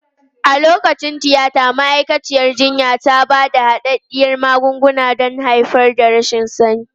A lokacin tiyata, ma'aikaciyar jinya ta ba da hadaddiyar magunguna don haifar da rashin sani.